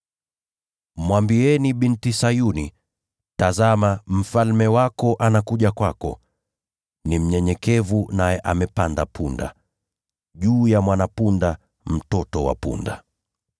“Mwambieni Binti Sayuni, ‘Tazama, mfalme wako anakuja kwako, ni mnyenyekevu, naye amepanda punda, juu ya mwana-punda, mtoto wa punda.’ ”